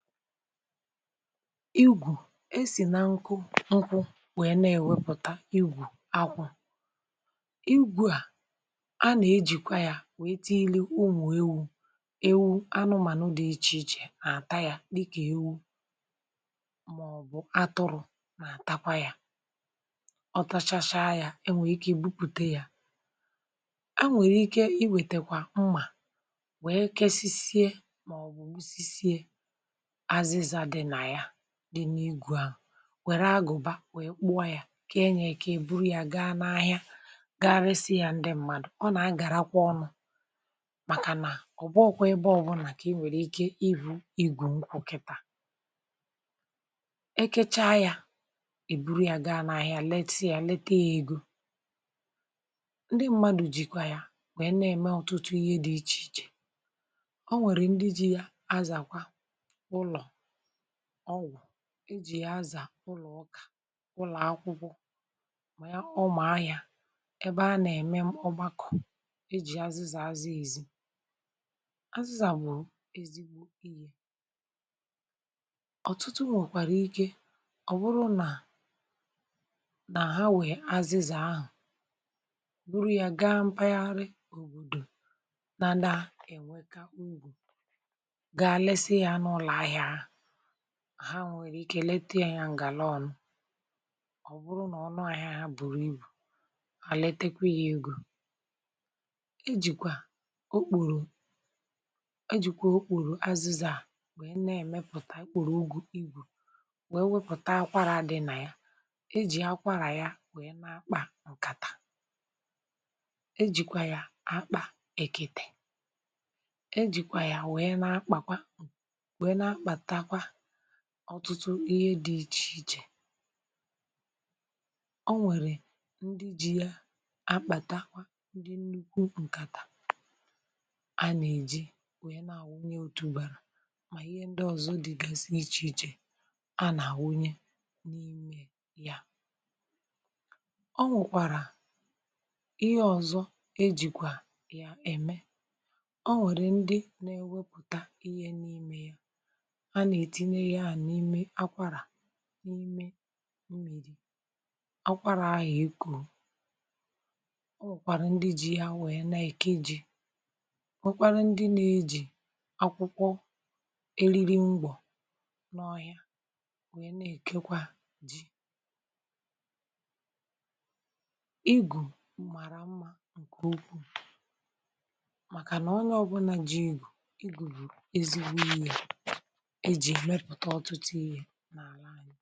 Ịgwù, esì na nkụ nkụ wee na-ewepụ̀ta igwù akwụ̇. igwù à a nà-ejìkwa yȧ wèe tinye unwà ewu-ewu, anụmànụ dị̇ ichè ichè nà-àta yȧ, dịkà ewu màọbụ̀ atụrụ̇ nà-àtakwa yȧ, ọtȧchacha yȧ e nwèrè ike ibupùte yȧ, a nwèrè ike iwètèkwà mmà wee kesisie màọbụ̀ gbụ sị sịè azịzà dị nà ya-di na igụ ahu, wère agụ̀ba wèe kpụọ ya kà enyè kee èburu ya gaa n’ahịa ga-eresi ya ndị mmadụ̀. ọ nà a gàrakwa ọnụ̇, màkà nà ọ bụọ kwa ebe ọbụnà kà i nwèrè ike ịbù igwù nkwụ̇ kịtà. ekecha ya, èburu ya gaa n’ahịa leta ya leta ya egȯ. Ndị mmadụ̀ jìkwa ya wèe na-ème ọ̀tụtụ ihe dị ichè ichè, ọ nwèrè ndị ji ya azàkwa ụlọ ọgwụ, e ji̇ ya azà ụlọ̀ ụkà, ụlọ̀ akwụkwọ mà ya ụmụ̀ ahịà ebe a nà-ème ọgbakọ̀, e ji̇ azịzà azị èzi. azịzà bụ̀ ezigbo ihe, ọ̀tụtụ nwèkwàrà ike ọ̀bụrụ nà nà ha nwèe azịzà ahụ̀ buru ya gaa m̀pagharị òbòdò nà na-ènweka ugwù ga lesị ha na ụlọ ahịa ha, ha nwèrè ike lete yȧ ǹgà lọnụ, ọ̀ bụrụ nà ọ nụ àhịa ha bùrù ibù, àlitekwe yȧ egȯ. e jìkwà okpùrù-e jìkwà okpùrù azu̇zà wèe na-èmepùta okpùrù ugù ibù wèe wepùta akwarà dị nà ya, e jì akwarà ya wèe n’akpà ǹkàtà, e jìkwà ya akpà èkètè, e jìkwà ya wèe n’akpà kwà ọtụtụ ihe dị iche ichè. Ọ nwèrè ndị ji ya akpàta akwa ndị nnukwu ǹkàtà a nà-èji wee nà-àwụ ya otù ùbàrà, mà ihe ndị ọ̀zọ dịgasị ichè ichè a nà-àwunye n’ime ya. o nwèkwàrà ihe ọ̀zọ e jìkwà yà ème, ọ nwere ndị na ewepụta ịhe n’ime ya, ana etịnye ya n’ịme akwarà, n’ime mmiri̇ akwarà ahụ ekọ, ọ nwèkwàrà ndị ji yȧ nwe na-èke ji nwekwara ndị na-eji akwụkwọ eriri ngwọ̀ n’ọhịa nwe na-èkekwa ji. igù mara mmȧ ǹkè okwu, màkànà ọ na ọbụna ji igù bù ezigbo ya na ala anyị.